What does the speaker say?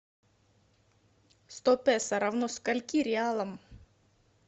сто песо равно скольки реалам